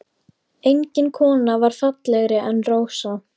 Engin kona var fallegri en Rósa.